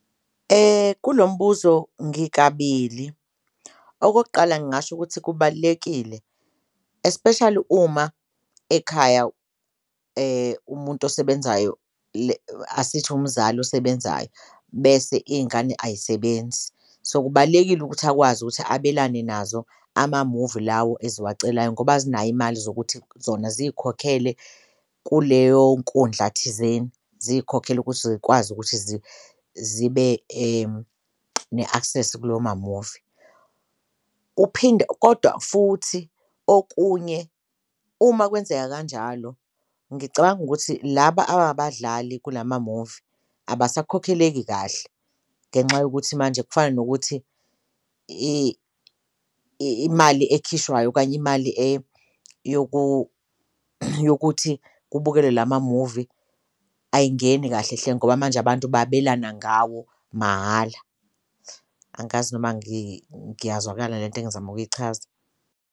Kulo mbuzo ngikabili okokuqala, ngingasho ukuthi kubalulekile especially uma ekhaya umuntu osebenzayo asithi umzali osebenzayo bese iy'ngane ayisebenzi so, kubalulekile ukuthi akwazi ukuthi abelane nazo amamuvi lawo eziwacelayo ngoba azinayo imali zokuthi zona ziyikhokhele kuleyo nkundla thizeni, ziyikhokhele ukuthi zikwazi ukuthi zibe ne-access mamuvi. Uphinde kodwa futhi okunye uma kwenzeka kanjalo ngicabanga ukuthi laba ababadlali kula mamuvi abasakhokheleki kahle ngenxa yokuthi manje kufana nokuthi imali ekhishwayo okanye imali yokuthi kubukelwe la mamuvi ayingeni kahle hle ngoba manje abantu babelana ngawo mahhala. Angikazi noma ngiyazwakala lento engizama ukuyichaza.